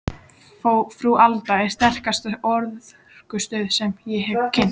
Frú Alda er sterkasta orkustöð sem ég hef kynnst.